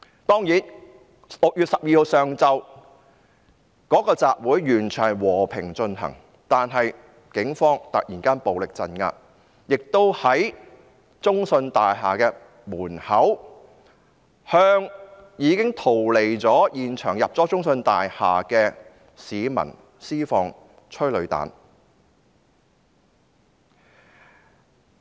當然 ，6 月12日上午的集會是完全和平進行的，但警方突然暴力鎮壓，並在中信大廈門口向已經逃離現場，進入中信大廈的市民施放催淚彈。